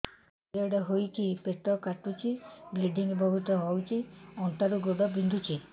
period ହୋଇକି ପେଟ କାଟୁଛି ବ୍ଲିଡ଼ିଙ୍ଗ ବହୁତ ହଉଚି ଅଣ୍ଟା ରୁ ଗୋଡ ବିନ୍ଧୁଛି